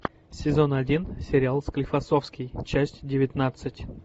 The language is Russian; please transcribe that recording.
сезон один сериал склифосовский часть девятнадцать